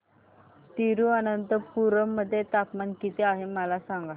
तिरूअनंतपुरम मध्ये तापमान किती आहे मला सांगा